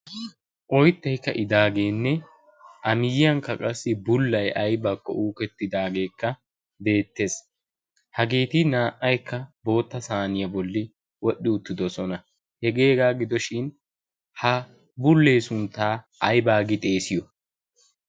oyttay ka'idaageene a miyiyankka bullay aybakko ka'idaagee beetees, haggeti naa"aykka boota saynniya bolli wodhi uttidosona, hegee hegaa gidishin ha bulee suntaa ayba giidi xeessiyo?